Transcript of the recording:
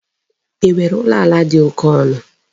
E nwere ụlọ ala dị oke ọnụ?